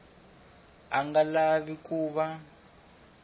a nga lavi ku va